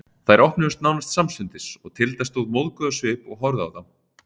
Þær opnuðust nánast samstundis og Tilda stóð móðguð á svip og horfði á þá.